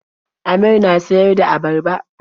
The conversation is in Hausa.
Amir na siyar da abarba.